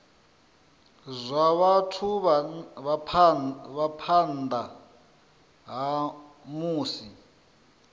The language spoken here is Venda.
zwa vhathu phanḓa ha musi